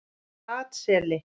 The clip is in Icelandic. Flataseli